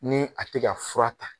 Ni a te ka fura ta